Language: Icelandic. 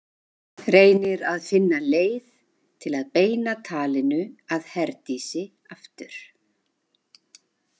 Reynir að finna leið til að beina talinu að Herdísi aftur.